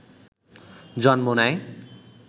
জন্ম নেয়